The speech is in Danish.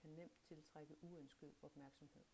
kan nemt tiltrække uønsket opmærksomhed